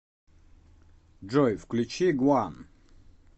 джой включи гван